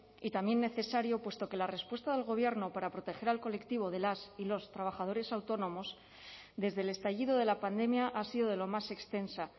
y también necesario puesto que la respuesta del gobierno para proteger al colectivo de las y los trabajadores autónomos desde el estallido de la pandemia ha sido de lo más extensa